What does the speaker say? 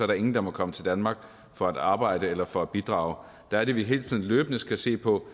der ingen der må komme til danmark for at arbejde eller for at bidrage der er det vi hele tiden løbende skal se på